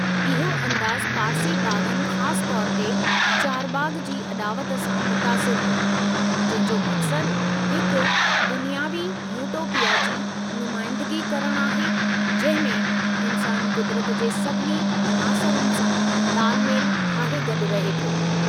इहो अंदाज़ु पारसी बाग़नि ख़ासि तौरु ते चारबाग़ जी अॾावति सां मुतासिरु हो, जंहिं जो मक़्सदु हिकु दुनियावी यूटोपिया जी नुमाइंदिगी करणु आहे जंहिं में इन्सान कुदरत जे सभिनी अनासरनि सां तालमेलु ठाहे गॾु रहे थो।